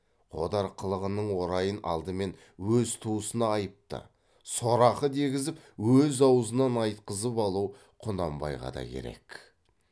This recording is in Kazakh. қодар қылығының орайын алдымен өз туысына айыпты сорақы дегізіп өз аузынан айтқызып алу құнанбайға да керек